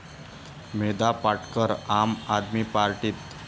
मेधा पाटकर आम आदमी पार्टीत?